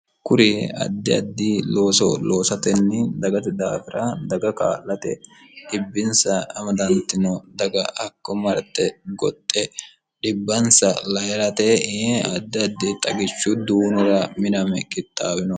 kuri addi addi looso loosatenni dagate daafira daga kaa'late dhibbinsa amadaantino daga hakko marte goxxe dhibbansa layirate i'e addi addi xagichu duunora miname kixaawinoho